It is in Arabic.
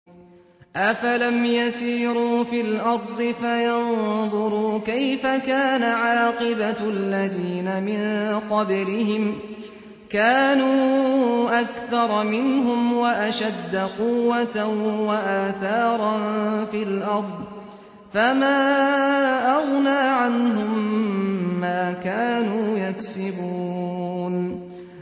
أَفَلَمْ يَسِيرُوا فِي الْأَرْضِ فَيَنظُرُوا كَيْفَ كَانَ عَاقِبَةُ الَّذِينَ مِن قَبْلِهِمْ ۚ كَانُوا أَكْثَرَ مِنْهُمْ وَأَشَدَّ قُوَّةً وَآثَارًا فِي الْأَرْضِ فَمَا أَغْنَىٰ عَنْهُم مَّا كَانُوا يَكْسِبُونَ